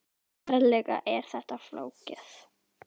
Ferlega er þetta flókið!